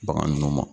Bagan ninnu ma